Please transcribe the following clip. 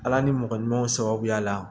Ala ni mɔgɔ ɲuman sababuya la